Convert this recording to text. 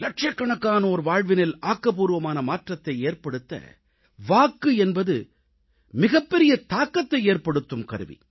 லட்சக்கணக்கானோர் வாழ்வினில் ஆக்கப்பூர்வமான மாற்றத்தை ஏற்படுத்த வாக்கு என்பது மிகப்பெரிய தாக்கத்தை ஏற்படுத்தும் கருவி